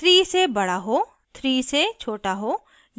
3 से बड़ा हो 3 से छोटा हो